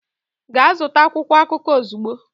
Gaa zụta akwụkwọ akụkọ ozugbo!